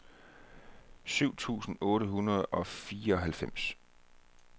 syv tusind otte hundrede og fireoghalvfems